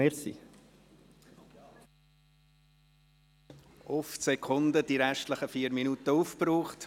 Auf die Sekunde wurden die verbleibenden vier Minuten aufgebraucht.